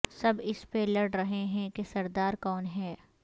سب اس پہ لڑ رہے ہیں کہ سردار کون ہے